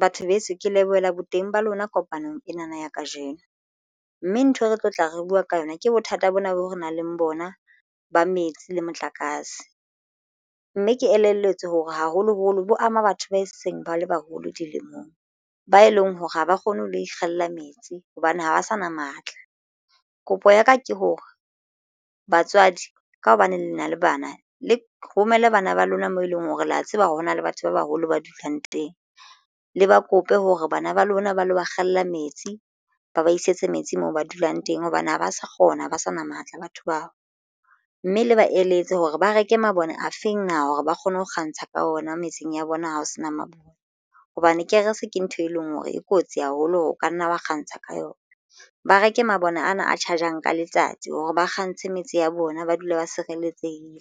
Batho beso ke lebohela boteng ba lona kopanong enana ya kajeno mme ntho e re tlotla re buwa ka yona ke bothata bona boo re nang le bona ba metsi le motlakase. Mme ke elelletswe hore haholoholo bo ama batho ba seng bale baholo dilemong ba e leng hore ha ba kgone ho lo ikgella metsi hobane ha ba sa na matla. Kopo ya ka ke hore batswadi ka hobane le nna le bana le romelle bana ba lona moo e leng hore le a tseba hore hona le batho ba baholo ba dulang teng le ba kope hore bana ba lona ba lo ba kgalla metsi ba ba isetse metsi moo ba dulang teng hobane ha ba sa kgona ho ba sa na matla batho bao, mme le ba eletse hore ba reke mabone a feng na hore ba kgone ho kgantsha ka ona metseng ya bona ha ho sena mabone hobane kerese ke ntho e leng hore e kotsi haholo ho ka nna wa kgantsha ka yona. Ba reke mabone ana a charger-ang ka letsatsi hore ba kgantshe metse ya bona ba dule ba sireletsehile